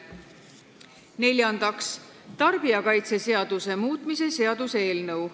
Neljandaks, tarbijakaitseseaduse muutmise seaduse eelnõu.